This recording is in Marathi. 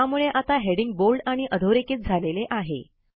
त्यामुळे आता हेडिंग बोल्ड आणि अधोरेखित झालेले आहे